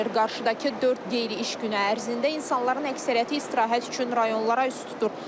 Qarşıdakı dörd qeyri-iş günü ərzində insanların əksəriyyəti istirahət üçün rayonlara üz tutur.